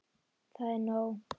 Það er nóg.